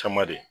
Caman de